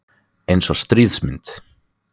Eins og stríðsmynd